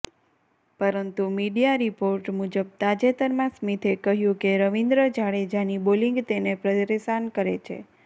પરંતુ media report મુજબ તાજેતરમાં સ્મિથે કહ્યું કે રવિન્દ્ર જાડેજાની બોલિંગ તેને પરેશાન કરે છે